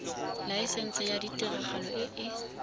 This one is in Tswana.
laesense ya tiragalo e e